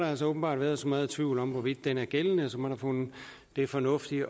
altså åbenbart været så meget tvivl om hvorvidt den er gældende at man har fundet det fornuftigt